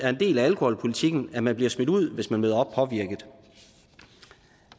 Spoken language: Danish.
del af alkoholpolitikken at man bliver smidt ud hvis man møder op påvirket